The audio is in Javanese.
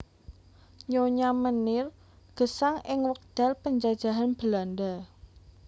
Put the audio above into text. Nyonya Meneer gesang ing wekdal panjajahan Belanda